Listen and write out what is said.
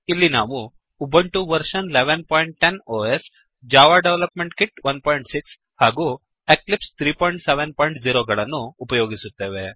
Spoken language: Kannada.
ಇಲ್ಲಿ ನಾವು Ubuntu version 1110 OS Ubuntu operating system ನ ಆವೃತ್ತಿ ೧೧೧೦ Java development kit 16 Java development kit ೧೬ ಹಾಗೂ ಎಕ್ಲಿಪ್ಸ್ 370 ಮತ್ತು ಎಕ್ಲಿಪ್ಸ್ ೩೭೦ ಯನ್ನು ಉಪಯೋಗಿಸುತ್ತೇವೆ